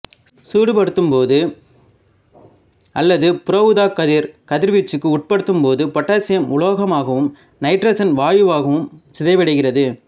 சூடுபடுத்தும் போது அல்லது புற ஊதாக்கதிர் கதிர்வீச்சுக்கு உட்படுத்தும் போது பொட்டாசியம் உலோகமாகவும் நைட்ரசன் வாயுவாகவும் சிதைவடைகிறது